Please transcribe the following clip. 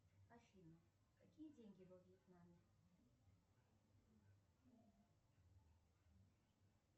афина какие деньги во вьетнаме